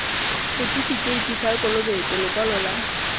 setifikeiti sa kolobetso lekwalo la